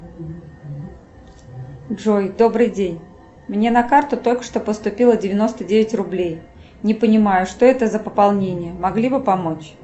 джой добрый день мне на карту только что поступило девяносто девять рублей не понимаю что это за пополнение могли бы помочь